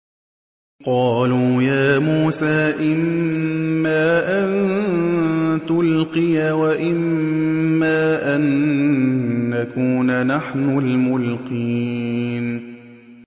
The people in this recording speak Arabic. قَالُوا يَا مُوسَىٰ إِمَّا أَن تُلْقِيَ وَإِمَّا أَن نَّكُونَ نَحْنُ الْمُلْقِينَ